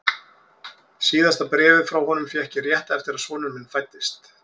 Síðasta bréfið frá honum fékk ég rétt eftir að sonur minn fæddist.